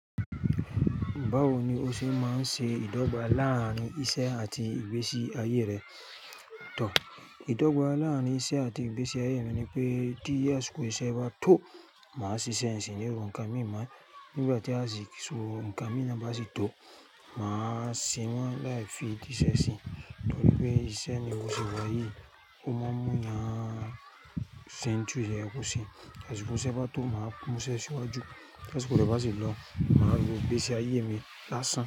Báwo ni o ṣe máa ń ṣe ìdọ́gba lárin iṣẹ́ àti ìgbésí ayé rẹ. Òótọ́ ìdọ́gba láàárín iṣẹ́ àti ìgbésí ayé mi ni pé tí àsìkò iṣẹ́ bá tó, màá ṣiṣẹ́ n sì ní ro ǹkan mí má nígbà tí àsìkò ǹkan mi na bá sì tó, màá se wọ́n láì fi diṣẹ́ sí i. Torí pé iṣẹ́ mi bó se wàyíì ó máa ń mú èèyàn se ohun tí kòyẹ kó se. Tí àsìkò iṣẹ́ bá tó, màá mú iṣẹ́ sí iwájú. Tí àsìkò rẹ̀ bá sì lọ, màá ro ìgbésí ayé mi lásán.